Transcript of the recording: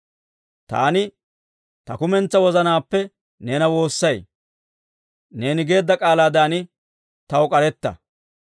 Taani ta kumentsaa wozanaappe neena woossay. Neeni geedda k'aalaadan taw k'aretta.